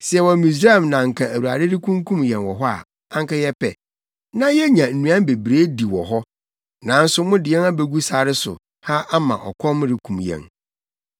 “Sɛ yɛwɔ Misraim na anka Awurade rekunkum yɛn wɔ hɔ a, anka yɛpɛ. Na yenya nnuan bebree di wɔ hɔ. Nanso mode yɛn abegu sare so ha ama ɔkɔm rekum yɛn.”